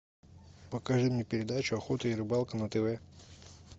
покажи мне передачу охота и рыбалка на тв